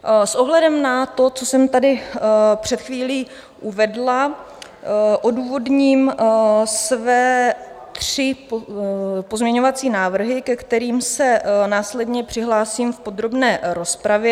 S ohledem na to, co jsem tady před chvílí uvedla, odůvodním své tři pozměňovací návrhy, ke kterým se následně přihlásím v podrobné rozpravě.